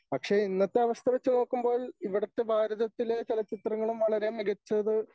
പക്ഷേ ഇന്നത്തെ അവസ്ഥ വച്ചുനോക്കുമ്പോൾ ഇവിടത്തെ ഭാരതത്തിലെ ചലച്ചിത്രങ്ങളും വളരെ മികച്ചത്